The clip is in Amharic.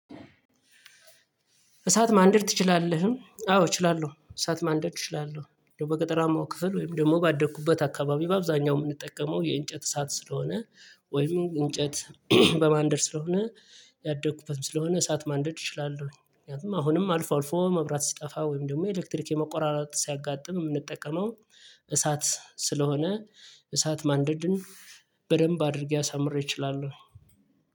እሳት ማንደድ ትችላለህ? አዎ እችላለሁ እሳት ማንደድ እችላለሁ። በገጠራማው ክፍል ወይም ደግሞ ባደኩበት አካባቢ በአብዛኛው የምንጠቀመው የእንጨት እሳት ስለሆነ። ወይም እንጨት በማንደድ ስለሆነ ያደኩበትም ስለሆነ እሳት ማንደድ እችላለሁ። ምክንያቱም አሁንም አልፎ አልፎ መብራት ሲጠፋ ወይም ደግሞ ኤሌክትሪክ የመቆራረጥ ሲያጋጥም የምንጠቀመው እሳት ስለሆነ። እሳት ማንደድን በደንብ አድርጌ አሳምሬ እችላለሁኝ።